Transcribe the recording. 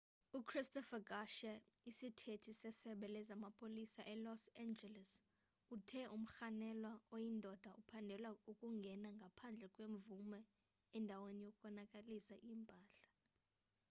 uchristopher garcia isithethi sesebe lezamapolisa elos angeles uthe umrhanelwa oyindoda uphandelwa ukungena ngaphandle kwemvume endaweni yokonakalisa impahla